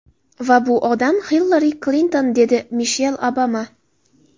Va bu odam Hillari Klinton”, dedi Mishel Obama.